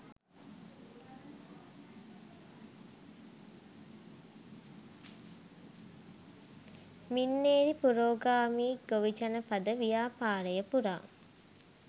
මින්නේරි පුරෝගාමී ගොවිජනපද ව්‍යාපාරය පුරා